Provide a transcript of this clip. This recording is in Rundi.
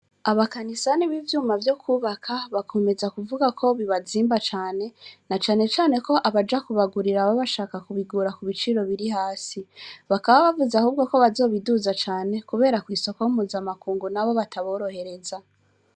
Abakanisani b'ivyuma vyo kubaka bakomeza kuvuga ko bibazimba cane na canecane ko abaja kubagurira ababashaka kubigura ku biciro biri hasi, bakaba bavuze ahubwo ko bazobiduza cane, kubera kw'isoko b'umuzamakungu na bo bataborohereza.